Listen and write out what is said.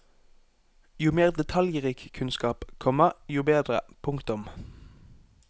Jo mer detaljrik kunnskap, komma jo bedre. punktum